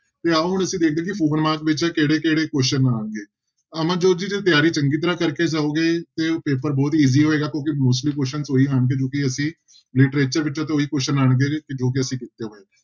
ਤੇ ਆਓ ਹੁਣ ਅਸੀਂ ਦੇਖਦੇ ਹਾਂ ਕਿ ਕਿਹੜੇ ਕਿਹੜੇ question ਆਉਣਗੇ, ਅਮਨਜੋਤ ਜੀ ਜੇ ਤਿਆਰੀ ਚੰਗੀ ਤਰ੍ਹਾਂ ਕਰਕੇ ਜਾਓਗੇ ਤੇ ਪੇਪਰ ਬਹੁਤ easy ਹੋਏਗਾ ਕਿਉਂਕਿ mostly questions ਉਹੀ ਆਉਣਗੇ ਜੋ ਕਿ ਅਸੀਂ literature ਵਿੱਚੋਂ ਤਾਂ ਉਹੀ question ਆਉਣਗੇ ਜੋ ਕਿ ਅਸੀਂ ਕੀਤੇ ਹੋਏ ਆ।